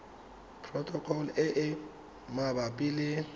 protocol e e mabapi le